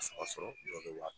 A saba sɔrɔ jɔ bɛ wa